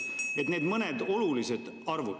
Need mõned olulised arvud.